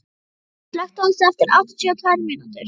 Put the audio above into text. Hartmann, slökktu á þessu eftir áttatíu og tvær mínútur.